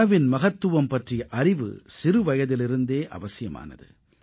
உணவின் மகத்துவம் பற்றிய அறிவு சிறுவயதிலிருந்தே அவசியமானது